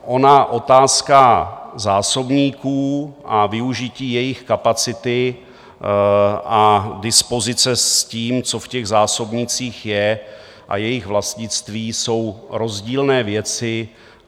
Ona otázka zásobníků a využití jejich kapacity a dispozice s tím, co v těch zásobnících je, a jejich vlastnictví jsou rozdílné věci.